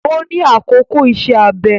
Ó ní àkókò ìṣe-abẹ